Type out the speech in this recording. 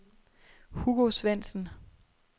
Hugo Svendsen